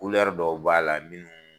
dɔw b'a la minnu